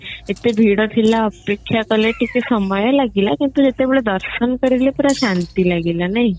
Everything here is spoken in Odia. ଏତେ ଭିଡ ଥିଲା ଅପେକ୍ଷା କଲେ ଟିକେ ସମୟ ଲାଗିଲା କିନ୍ତୁ ଯେତେବେଳେ ଦର୍ଶନ କରିଲେ ପୁରା ଶାନ୍ତି ଲାଗିଲା ନାଇଁ